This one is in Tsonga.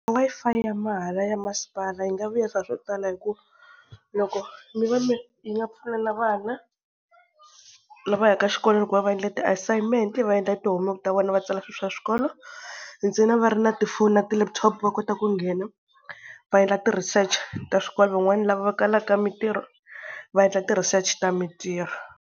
Wi-Fi ya mahala ya masipala yi nga vuyerisa swo tala hi ku loko mi va mi yi nga pfuna na vana lava ya ka xikolweni ku va va endla ti-assignment, va endla yi ti-homework-i ta vona va tsala swi swa xikolo, ntsena va ri na tifoni na ti-laptop va kota ku nghena va endla ti-research ta swikolo van'wana lava va kalaka mintirho va endla ti-research ta mintirho.